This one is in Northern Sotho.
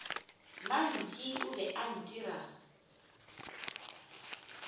mantši o be a itira